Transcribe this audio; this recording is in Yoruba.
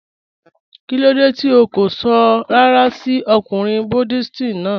Kilódé tí ó kó sọ̀ ràrà sí ọ̀kùnrin Buddhist náà?